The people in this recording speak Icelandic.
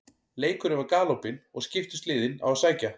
Leikurinn var galopinn og skiptust liðin á að sækja.